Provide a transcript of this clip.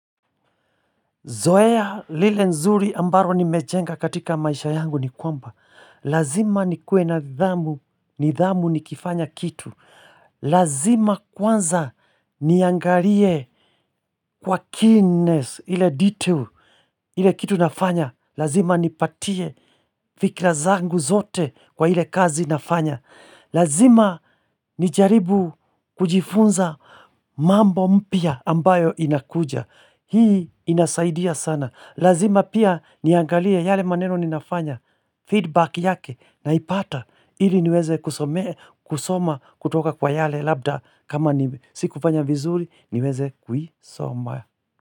Zoea lile nzuri ambalo nimejenga katika maisha yangu ni kwamba. Lazima nikue na dhamu, nidhamu ni kifanya kitu. Lazima kwanza niangalie kwa keenness, ile detail, ile kitu nafanya. Lazima ni patie fikira zangu zote kwa ile kazi nafanya. Lazima ni jaribu kujifunza mambo mpya ambayo inakuja. Hii inasaidia sana. Lazima pia niangalia yale maneno ninafanya, feedback yake na ipata ili niweze kusoma kutoka kwa yale labda kama ni siku fanya vizuri niweze kuisoma.